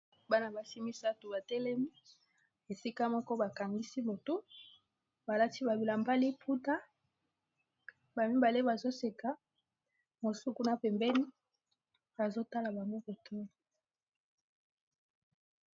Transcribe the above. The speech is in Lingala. Bana-basi misato batelemi esika moko bakangisi moto balati ba bilamba liputa ba mibale bazo seka mosusu kuna pembeni azotala bango kotoyo.